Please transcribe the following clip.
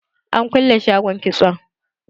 An kulle shagon kitson.